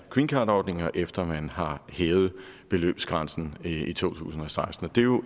greencardordningen og efter man har hævet beløbsgrænsen i to tusind og seksten det er jo